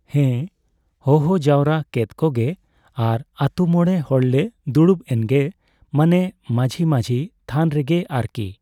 ᱦᱮᱸ, ᱦᱚᱦᱚ ᱡᱟᱣᱨᱟ ᱠᱮᱫ ᱠᱚᱜᱮ ᱟᱨ ᱟᱹᱛᱩ ᱢᱚᱬᱮ ᱦᱚᱲ ᱞᱮ ᱫᱩᱲᱩᱵ ᱮᱱᱜᱮ᱾ ᱢᱟᱱᱮ ᱢᱟᱺᱡᱷᱤ ᱢᱟᱺᱡᱷᱤ ᱛᱷᱟᱱ ᱨᱮᱜᱮ ᱟᱨᱠᱤ᱾